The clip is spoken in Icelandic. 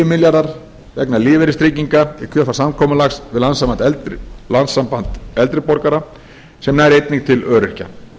milljarðar vegna lífeyristrygginga í kjölfar samkomulags við landssamband eldri borgara sem nær einnig til öryrkja